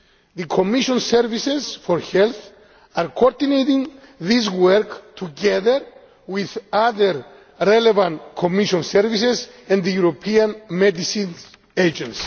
The Commission services for health are coordinating this work together with other relevant Commission services and the European Medicines Agency.